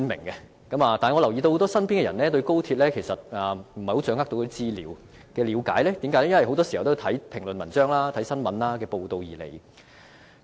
可是，我留意到身邊很多人未完全掌握廣深港高速鐵路的資料，因為很多時候他們的了解都是從閱讀評論文章及新聞報道而來。